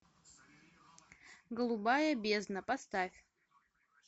голубая бездна поставь